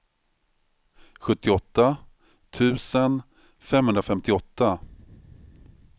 sjuttioåtta tusen femhundrafemtioåtta